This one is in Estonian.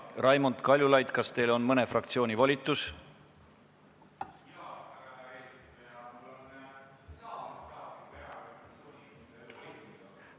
Raimond Kaljulaid, kas teil on mõne fraktsiooni volitus?